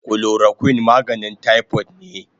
Chloroquine maganin typhoid ne